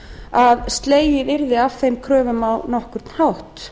að slegið yrði af þeim kröfum á nokkurn hátt